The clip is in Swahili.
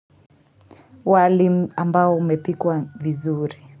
Wali ambao umepikwa vizuri.